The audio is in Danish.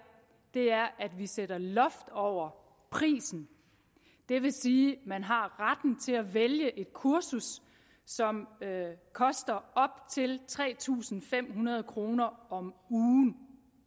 er at vi sætter loft over prisen det vil sige at man har retten til at vælge et kursus som koster op til tre tusind fem hundrede kroner om ugen